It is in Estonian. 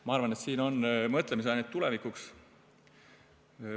Ma arvan, et siin on mõtlemisainet tulevikuks.